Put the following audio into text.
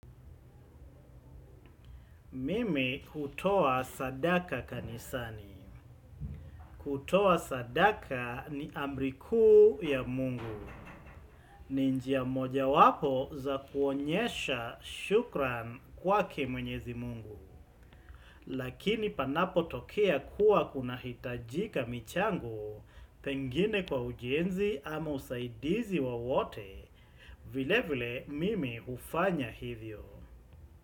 Mimi hutoa sadaka kanisani. Kutoa sadaka ni amri kuu ya mungu. Ninjia moja wapo za kuonyesha shukran kwake mwenyezi mungu. Lakini panapo tokea kuwa kuna hitajika michango, pengine kwa ujenzi ama usaidizi wa wote, vile vile mimi ufanya hivyo.